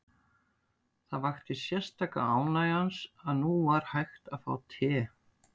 Það vakti sérstaka ánægju hans að nú var hægt að fá te.